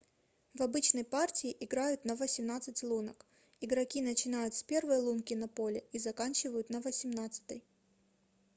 в обычной партии играют на восемнадцать лунок игроки начинают с первой лунки на поле и заканчивают на восемнадцатой